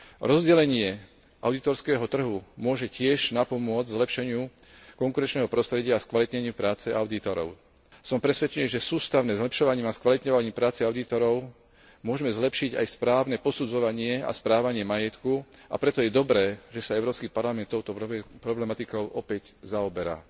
Rozdelenie audítorského trhu môže tiež napomôcť zlepšeniu konkurenčného prostredia a skvalitneniu práce audítorov. Som presvedčený, že sústavným zlepšovaním a skvalitňovaním práce audítorov môžme zlepšiť aj správne posudzovanie a správanie majetku, a preto je dobré, že sa Európsky parlament touto problematikou opäť zaoberá.